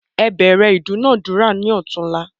Ẹ bẹ̀rẹ ìdúnadúrà ni otunla